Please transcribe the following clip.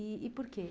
E e por quê?